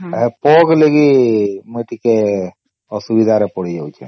ପୋକ ଲାଗି ମୁଇ ଟିକେ ଅସୁବିଧା ରେ ପଡି ଯାଉଛେ